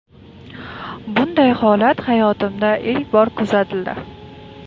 Bunday holat hayotimda ilk bor kuzatildi.